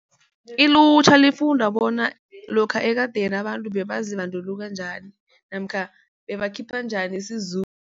Ilutjha lifunda bona lokha ekadeni abantu bebazibandulula njani namkha bebakhipha njani